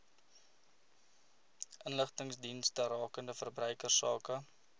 inligtingsdienste rakende verbruikersake